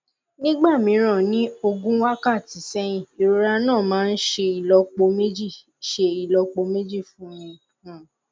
nígbà mìíràn ní ogún wákàtí sẹyìn ìrora náà máa ń ṣe ìlọpo méjì ṣe ìlọpo méjì fún mi um